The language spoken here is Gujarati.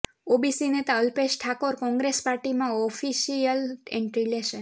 ઓબીસી નેતા અલ્પેશ ઠાકોર કોંગ્રેસ પાર્ટીમાં ઓફિશિયલ એન્ટ્રી લેશે